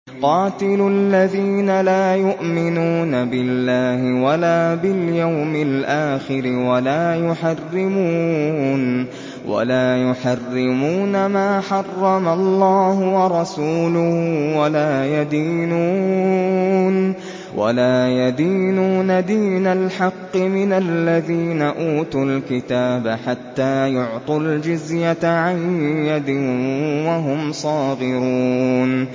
قَاتِلُوا الَّذِينَ لَا يُؤْمِنُونَ بِاللَّهِ وَلَا بِالْيَوْمِ الْآخِرِ وَلَا يُحَرِّمُونَ مَا حَرَّمَ اللَّهُ وَرَسُولُهُ وَلَا يَدِينُونَ دِينَ الْحَقِّ مِنَ الَّذِينَ أُوتُوا الْكِتَابَ حَتَّىٰ يُعْطُوا الْجِزْيَةَ عَن يَدٍ وَهُمْ صَاغِرُونَ